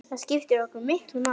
Það skipti okkur miklu máli.